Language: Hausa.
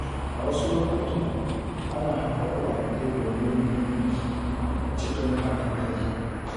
A wasu lokutan, ana haɗa kuɗaɗe domin yin biki cikin haɗin kai.